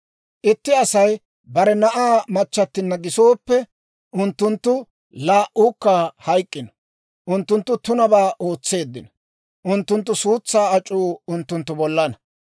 Itti Asay bare na'aa machchattinna gisooppe, unttunttu laa"uukka hayk'k'ino. Unttunttu tunabaa ootseeddino. Unttunttu suutsaa ac'uu unttunttu bollana.